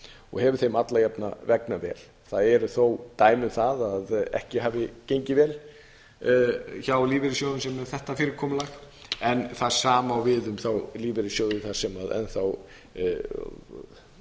og hefur þeim alla jafna vegnað vel þess eru þó dæmi að ekki hafi gengið vel hjá lífeyrissjóðum með þetta fyrirkomulag en það sama á við um þá lífeyrissjóði þar sem enn þá